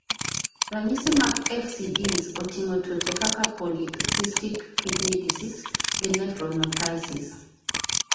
Ranyisi mag FCDs oting'o tuoche kakapolycystic kidney disease (PKD) gi nephronophthisis (NPHP).